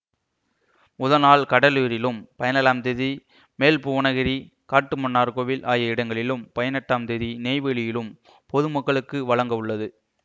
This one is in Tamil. முதல் நாள் கடலூரிலும் பதினேழாம் தேதி மேல்புவனகிரி காட்டுமன்னார்கோவில் ஆகிய இடங்களிலும் பதினெட்டாம் தேதி நெய்வேலியிலும் பொதுமக்களுக்கு வழங்க உள்ளது